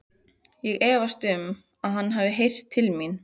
Ég efast um, að hann hafi heyrt til mín.